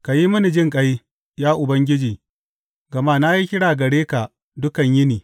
Ka yi mini jinƙai, ya Ubangiji, gama na yi kira gare ka dukan yini.